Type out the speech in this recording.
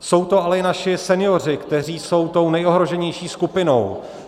Jsou to ale i naši senioři, kteří jsou tou nejohroženější skupinou.